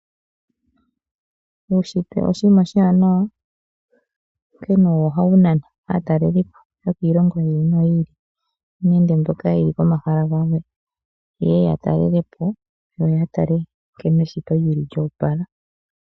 Uushitwe oshinima oshiwanawa, onkene owo ohawu nana aataleli po yokiilongo yi ili noyi ili nende mboka yeli pomahala gamwe ye ye ya talele po nkene eshito lyili lyoopala.